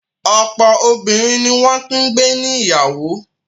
Ọ̀pọ̀ obìnrin ni wọ́n ti gbé níyàwó.